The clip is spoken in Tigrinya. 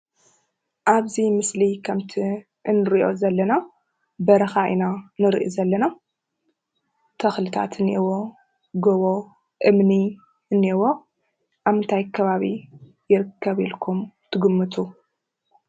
ኣብ እዙይ ምስሊ ከምቲ እንርእዮ ዘለና በረኻ ኢና እንርእይ ዘለና ተክልታት እንይኤዎ፣ ገቦ፣ እምኒ እንይኤዎ። ኣብ ምንታይ ከባቢ ይርከብ ኢልኩም ትግምቱ?